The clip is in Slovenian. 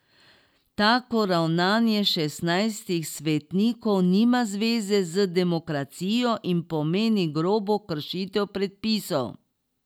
Tako ravnanje šestnajstih svetnikov nima zveze z demokracijo in pomeni grobo kršitev predpisov.